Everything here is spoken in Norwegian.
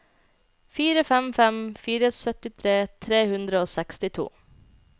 fire fem fem fire syttitre tre hundre og sekstito